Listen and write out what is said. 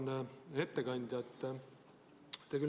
Auväärne ettekandja!